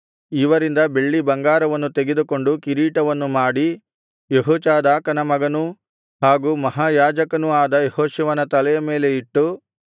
ಇವರಿಂದ ಬೆಳ್ಳಿಬಂಗಾರವನ್ನು ತೆಗೆದುಕೊಂಡು ಕಿರೀಟವನ್ನು ಮಾಡಿ ಯೆಹೋಚಾದಾಕನ ಮಗನೂ ಹಾಗೂ ಮಹಾಯಾಜಕನು ಆದ ಯೆಹೋಶುವನ ತಲೆಯ ಮೇಲೆ ಇಟ್ಟು